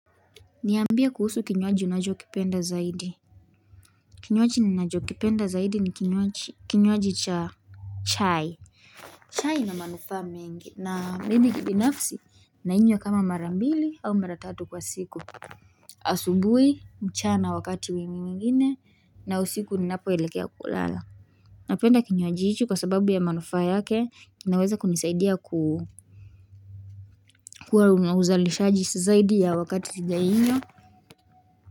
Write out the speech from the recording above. Niambie kuhusu kinywaji unachokipenda zaidi Kinywaji unajwa kipenda zaidi ni kinywaji cha chai chai ina manufaa mengi na mimi kibinafsi nainywa kama mara mbili au mara tatu kwa siku asubui mchana wakati wai mingine na usiku ninapo elikea kulala Napenda kinywaji hicho kwa sababu ya manufaa yake kinaweza kunisaidia kuwa uzalishaji zaidi ya wakati sijainywa.